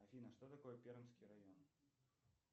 афина что такое пермский район